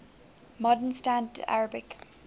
modern standard arabic